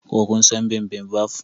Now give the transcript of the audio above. Ko kun san bibimbap?